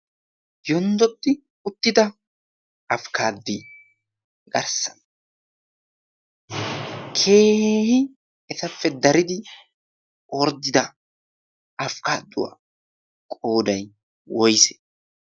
Yonddodi uttida afkkaadduwaa garssan keehi etappe daridi orddida afkkaadduwaa qooday woyse?